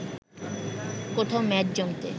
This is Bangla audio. কোথাও মেদ জমতে